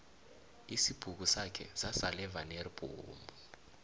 isibhukusakhe sasala evaneri bhomu